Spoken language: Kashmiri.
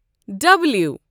ڈَبلِیو